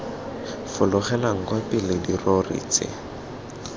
fologelang kwa pele dirori tse